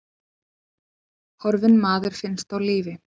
Horfinn maður finnst á lífi